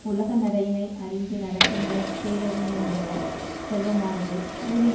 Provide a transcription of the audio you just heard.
உலக நடையினை அறிந்து நடக்கின்ற பேரறிஞனுடைய செல்வமானது ஊரில்